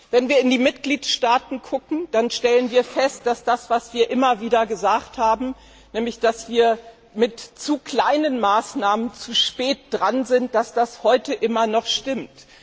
Wenn wir in die Mitgliedstaaten schauen, stellen wir fest, dass das, was wir immer wieder gesagt haben, nämlich dass wir mit zu kleinen Maßnahmen zu spät dran sind, heute immer noch stimmt.